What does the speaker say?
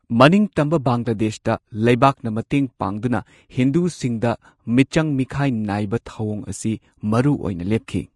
ꯃꯅꯤꯡꯇꯝꯕ ꯕꯪꯒ꯭ꯂꯥꯗꯦꯁꯇ, ꯂꯩꯕꯥꯛꯅ ꯃꯇꯦꯡ ꯄꯥꯡꯗꯨꯅ ꯍꯤꯟꯗꯨꯁꯤꯡꯗ ꯃꯤꯆꯪ ꯃꯤꯈꯥꯏ ꯅꯥꯏꯕ ꯊꯧꯋꯣꯡ ꯑꯁꯤ ꯃꯔꯨꯑꯣꯏꯅ ꯂꯦꯞꯈꯤ꯫